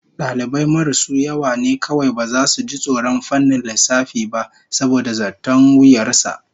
Dalibai marasu yawa ne kawai baza su ji tsoron fannin lissafi ba saboda zaton wuyar sa